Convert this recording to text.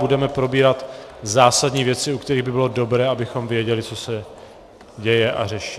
Budeme probírat zásadní věci, u kterých by bylo dobré, abychom věděli, co se děje a řeší.